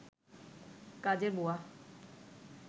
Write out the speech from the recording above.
কাজের বুয়া